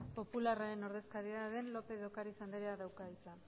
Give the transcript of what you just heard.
popularren ordezkariaren lópez de ocariz andereak dauka hitza